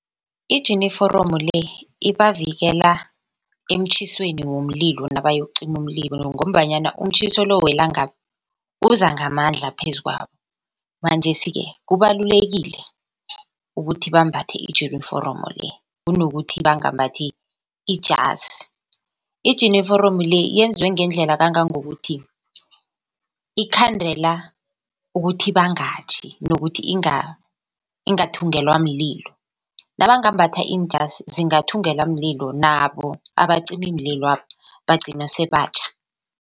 Ijiniforomo le ibavikela emtjhisweni womlilo nabayokucima umlilo ngombanyana umtjhiso lo welangabi uza ngamandla phezu kwabo. Manjesike kubalulekile ukuthi bambathe ijiniforomo le kunokuthi bangambathi ijasi. Ijiniforomo le yenzwe ngendlela kangangokuthi ikhandela ukuthi bangatjhi nokuthi ingathungelwa mlilo nabangambatha iinjazi zingathungulwa mlilo nabo abacimimlilo bagcina sebatjha.